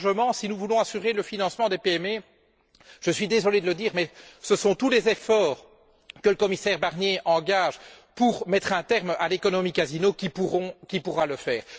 Plus largement, si nous voulons assurer le financement des PME, je suis désolé de le dire, mais ce sont tous les efforts que le commissaire Barnier engage pour mettre un terme à l'économie casino qui pourront le faire.